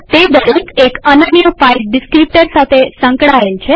તે દરેક એક અનન્ય ફાઈલ ડીસ્ક્રીપ્ટર સાથે સંકળાયેલ છે